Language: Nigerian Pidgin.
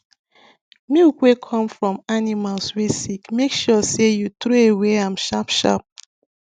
milk wey come from animals wey sick make sure sey u throwaway am sharp sharp